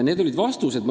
Need olid vastused.